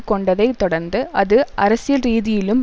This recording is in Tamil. கொண்டதைத் தொடர்ந்து அது அரசியல் ரீதியிலும்